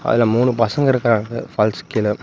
அதுல மூணு பசங்க இருக்காங்க ஃபால்ஸ்க்கு கீழ.